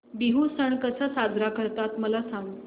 बिहू सण कसा साजरा करतात मला सांग